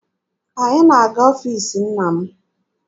Anyị na-aga n'ọfiisi nna m.